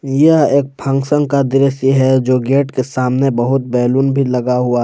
यह एक फंक्शन का दृश्य है जो गेट के सामने बहुत बैलून भी लगा हुआ--